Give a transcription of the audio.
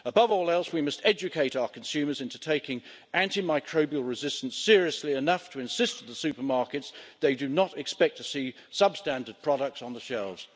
Above all else, we must educate our consumers into taking antimicrobial resistance seriously enough to insist to the supermarkets they do not expect to see substandard products on the shelves.